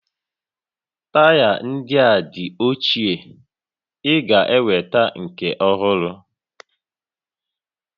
Taya ndị a ochie, ị ga-enweta nke ọhụrụ